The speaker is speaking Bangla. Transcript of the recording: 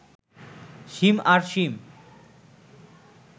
সীম আর সীম